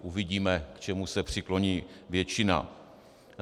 Uvidíme, k čemu se přikloní většina.